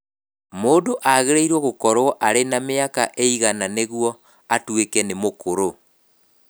Mũndũ agĩrĩirũo gũkorũo arĩ na mĩaka ĩigana nĩguo atuĩke nĩ mũkũrũ?